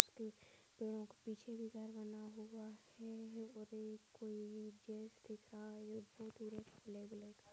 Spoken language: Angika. उसके पेड़ो के पीछे भी घर बना हुआ है और ये कोई जेंट्स दिख रहा है कोई--